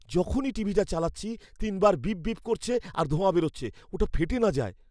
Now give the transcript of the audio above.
যখনই টিভিটা চালাচ্ছি, তিনবার বিপ বিপ করছে আর ধোঁয়া বেরোচ্ছে। ওটা ফেটে না যায়!